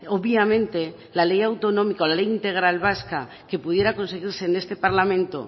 obviamente la ley de autonómico la ley integral vasca que pudiera conseguirse en este parlamento